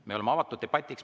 Me oleme avatud debatiks.